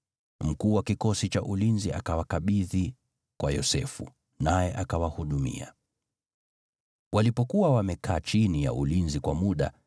Mkuu wa kikosi cha ulinzi akawakabidhi kwa Yosefu, naye akawahudumia. Walipokuwa wamekaa chini ya ulinzi kwa muda,